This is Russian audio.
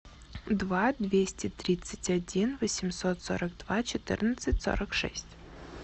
два двести тридцать один восемьсот сорок два четырнадцать сорок шесть